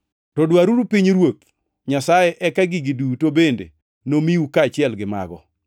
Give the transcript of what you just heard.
To dwaruru pinyruoth Nyasaye, eka gigi duto bende nomiu kaachiel gi mago.